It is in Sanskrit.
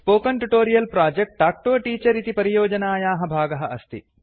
spoken tutorial project talk to a teacher इति परियोजनायाः भागः अस्ति